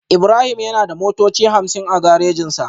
Ibrahim yana da motoci hamsin a garejinsa